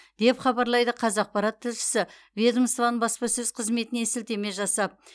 деп хабарлайды қазақпарат тілшісі ведомствоның баспасөз қызметіне сілтеме жасап